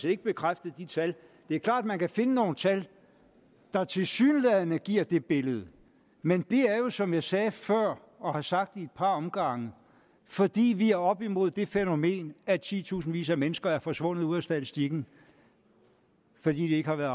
ikke bekræftet de tal det er klart at man kan finde nogle tal der tilsyneladende giver det billede men det er jo som jeg sagde før og har sagt i et par omgange fordi vi er oppe imod det fænomen at titusindvis af mennesker er forsvundet ud af statistikken fordi de ikke har været